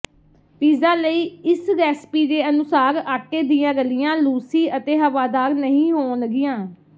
pizza ਲਈ ਇਸ recipe ਦੇ ਅਨੁਸਾਰ ਆਟੇ ਦੀਆਂ ਰਲੀਆਂ ਲੂਸੀ ਅਤੇ ਹਵਾਦਾਰ ਨਹੀਂ ਹੋਣਗੀਆਂ